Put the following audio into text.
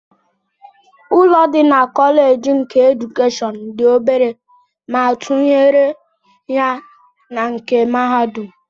Ụlọ dị na Kọlej nke edukeshọn dị obere ma atụnyere ya na nke mahadum